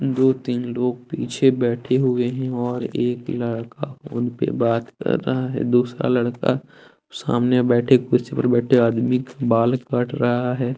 दो तीन लोग पीछे बैठे हुए हैं और एक लड़का फोन पे बात कर रहा है दूसरा लड़का सामने बैठे कुर्सी पे बैठे आदमी का बाल काट रहा है।